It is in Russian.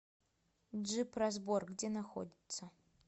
джип разбор где находится